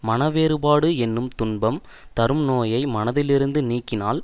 மனவேறுபாடு என்னும் துன்பம் தரும் நோயை மனத்திலிருந்து நீக்கினால்